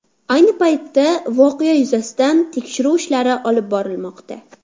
Ayni paytda voqea yuzasidan tekshiruv ishlari olib borilmoqda.